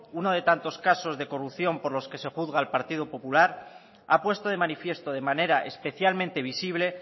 uno de tantos casos de corrupción por los que se juzga al partido popular ha puesto de manifiesto de manera especialmente visible